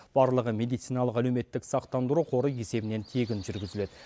барлығы медициналық әлеуметтік сақтандыру қоры есебінен тегін жүргізіледі